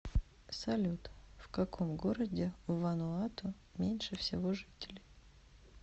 салют в каком городе в вануату меньше всего жителей